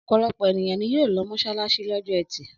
Ọ̀pọ̀lọpọ̀ ènìyàn ni yóò lọ mọ́ṣáláṣí lọ́jọ́ ẹtì.